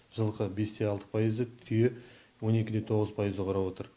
жылқы бес те алты пайызды түйе он екі де тоғыз пайызды құрап отыр